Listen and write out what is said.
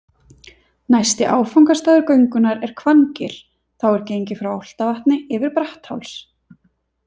Næsti áfangastaður göngunnar er Hvanngil, þá er gengið frá Álftavatni yfir Brattháls.